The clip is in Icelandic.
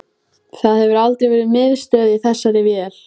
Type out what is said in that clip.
Það hefur aldrei verið miðstöð í þessari vél